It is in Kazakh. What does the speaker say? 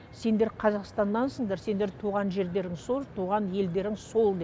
сендер қазақстаннансыңдар сендердің туған жерлерің сол туған елдерің сол деп